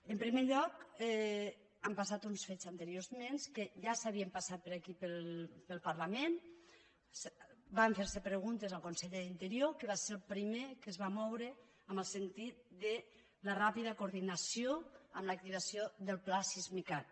en primer lloc han passat uns fets anteriorment que ja havien passat pel parlament van fer se preguntes al conseller d’interior que va ser el primer que es va moure en el sentit de la ràpida coordinació amb l’activació del pla sismicat